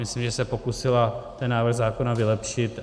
Myslím, že se pokusila ten návrh zákona vylepšit.